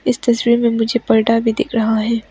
इस तस्वीर में मुझे परदा भी दिख रहा है।